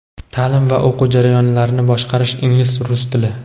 Ta’lim va o‘quv jarayonlarini boshqarish (ingliz/rus tili).